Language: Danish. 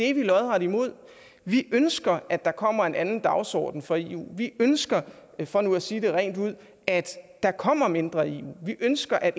er vi lodret imod vi ønsker at der kommer en anden dagsorden for eu vi ønsker for nu at sige det rent ud at der kommer mindre eu vi ønsker at